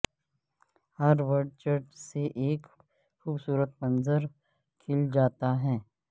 ہروڈ church سے ایک خوبصورت منظر کھل جاتا ہے